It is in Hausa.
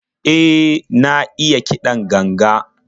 E, na iya kiɗan ganga.